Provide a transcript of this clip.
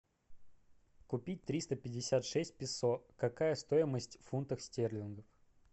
купить триста пятьдесят шесть песо какая стоимость фунтов стерлингов